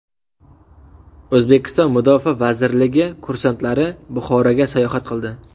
O‘zbekiston Mudofaa vazirligi kursantlari Buxoroga sayohat qildi.